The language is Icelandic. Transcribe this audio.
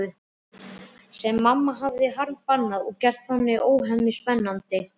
Sem mamma hafði harðbannað og gert þannig óhemju spennandi.